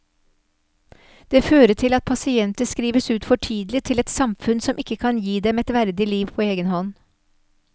Det fører til at pasienter skrives ut for tidlig til et samfunn som ikke kan gi dem et verdig liv på egen hånd.